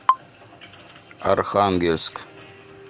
архангельск